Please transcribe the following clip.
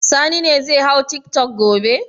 Sani ne zai hau tiktok gobe.